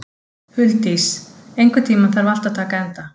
Huldís, einhvern tímann þarf allt að taka enda.